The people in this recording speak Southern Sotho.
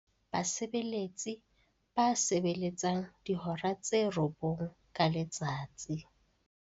Basebeletsi ba sebeletsang dihora tse robong ka letsatsi.